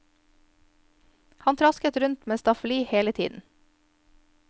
Han trasket rundt med staffeli hele tiden.